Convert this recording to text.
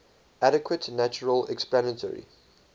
adequate natural explanatory